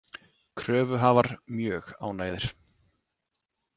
Kröfuhafar mjög ánægðir